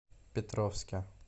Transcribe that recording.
петровске